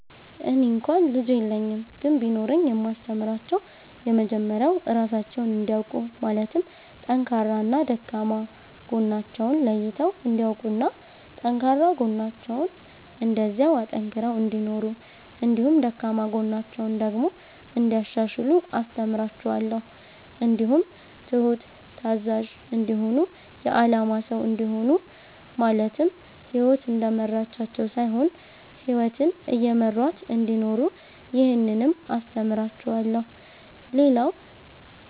እኔ እንኳ ልጅ የለኝም ግን ቢኖረኝ የማስተምራቸዉ የመጀመሪያዉ ራሳቸዉን እንዲያዉቁ ማለትም ጠንካራና ደካማ ጎናቸዉን ለይተዉ እንዲያዉቁና ጠንካራ ጎናቸዉን እንደዚያዉ አጠንክረዉ እንዲኖሩ እንዲሁም ደካማ ጎናቸዉን ደግሞ እንያሻሽሉ አስተምራቸዋለሁ። እንዲሁም ትሁት፣ ታዛዥ፣ እንዲሆኑ የአላማ ሰዉ እንዲሆኑ ማለትም ህይወት እንደመራቻቸዉ ሳይሆን ህይወትን እየመሯት እንዲኖሩ ይህንንም አስተምራቸዋለሁ። ሌላዉ